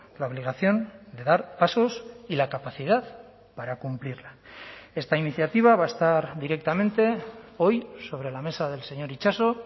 la obligación de dar pasos y la capacidad para cumplirla esta iniciativa va a estar directamente hoy sobre la mesa del señor itxaso